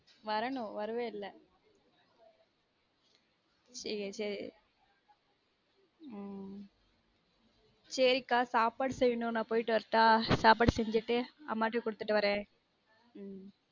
வரனும் வருவ இல்ல சேரி சேரி ஹம் சேரி கா சாப்பாடு செய்யனும் நான் போய்ட்டு வரட்டா சாப்படு செஞ்சுட்டு அம்மா ட குடுத்துட்டு வரேன் உம்